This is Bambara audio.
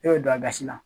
E bɛ don a gasi la